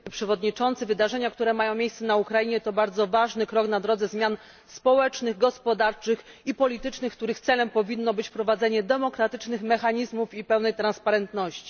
Panie Przewodniczący! Wydarzenia, które mają miejsce na Ukrainie to bardzo ważny krok na drodze zmian społecznych, gospodarczych i politycznych, których celem powinno być wprowadzenie demokratycznych mechanizmów i pełnej transparentności.